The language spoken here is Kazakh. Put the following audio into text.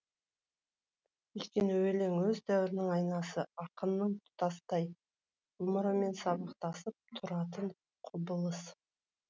өйткені өлең өз дәуірінің айнасы ақынның тұтастай ғұмырымен сабақтасып тұратын құбылыс